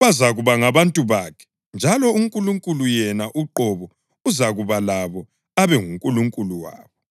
Bazakuba ngabantu bakhe njalo uNkulunkulu yena uqobo uzakuba labo abe nguNkulunkulu wabo.